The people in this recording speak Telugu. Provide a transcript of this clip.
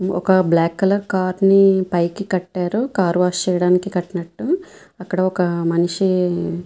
ఒక బ్లాక్ కలర్ కార్ నీ పైకి కట్టారు. కార్ వాష్ చేయడానికి కట్టినట్టు అక్కడ ఒక మనిషి --